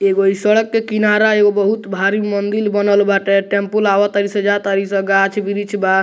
एगो इ सड़क के किनारा एगो बहुत भारी मंदिर बनल बाटे टेम्पू आवतारी सब जातारी सब गाक्ष वृक्ष बा।